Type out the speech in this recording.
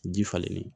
Ji falenlen